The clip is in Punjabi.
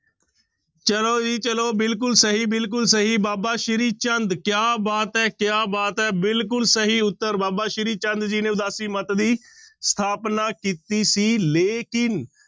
ਚਲੋ ਜੀ ਚਲੋ ਬਿਲਕੁਲ ਸਹੀ ਬਿਲਕੁਲ ਸਹੀ ਬਾਬਾ ਸ੍ਰੀ ਚੰਦ ਕਿਆ ਬਾਤ ਹੈ, ਕਿਆ ਬਾਤ ਹੈ ਬਿਲਕੁਲ ਸਹੀ ਉੱਤਰ ਬਾਬਾ ਸ੍ਰੀ ਚੰਦ ਜੀ ਨੇ ਉਦਾਸੀ ਮੱਤ ਦੀ ਸਥਾਪਨਾ ਕੀਤੀ ਸੀ ਲੇਕਿੰਨ